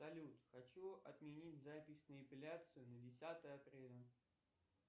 салют хочу отменить запись на эпиляцию на десятое апреля